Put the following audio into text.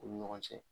U ni ɲɔgɔn cɛ